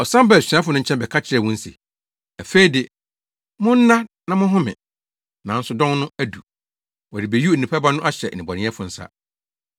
Ɔsan baa asuafo no nkyɛn bɛka kyerɛɛ wɔn se, “Afei de, monna na monhome. Nanso dɔn no adu. Wɔrebeyi Onipa Ba no ahyɛ nnebɔneyɛfo nsa!